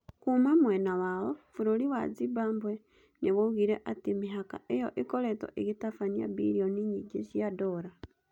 Kuuma mwena wao, bũrũri wa Zimbabwe nĩ woigire atĩ mĩhaka ĩyo ĩkoretwo ĩgĩtabania bilioni nyingĩ cia dola.